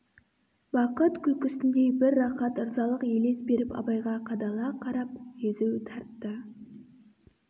бақыт күлкісіндей бір рақат ырзалық елес беріп абайға қадала қарап езу тартты